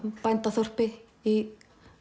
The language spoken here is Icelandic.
bændaþorpi í